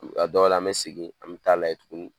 A dɔw an bɛ segin an bɛ t'a lajɛ tuguni